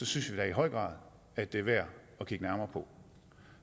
synes vi da i høj grad at det er værd at kigge nærmere på